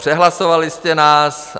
Přehlasovali jste nás.